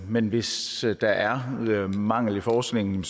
men hvis der er mangel i forskningen